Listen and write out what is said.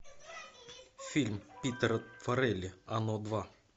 фильм питера фаррелли оно два